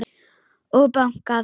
Og bankað.